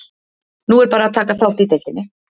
Nú er bara að taka þátt í deildinni.